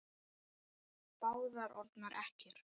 Báðar orðnar ekkjur.